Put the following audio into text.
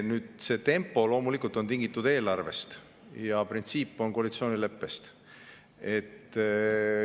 Tempo on tingitud loomulikult eelarvest ja printsiip tuleneb koalitsioonileppest.